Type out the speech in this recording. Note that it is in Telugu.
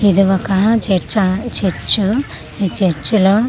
ఇది ఒక చర్చా చర్చు ఈ చర్చి లో .